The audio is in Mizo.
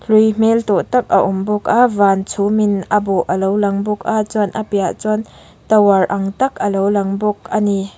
hlui hmel tawh tak a awm bawk a van chhumin a bawh a lo lang bawk a chuan a piahah chuan tower ang tak a lo lang bawk a ni.